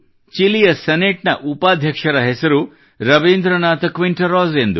ಚಿಲಿಯ ಸೆನೇಟ್ ನ ಉಪಾಧ್ಯಕ್ಷರ ಹೆಸರು ರವೀಂದ್ರನಾಥ ಕ್ವಿಂಟೆರಾಸ್ ಎಂದು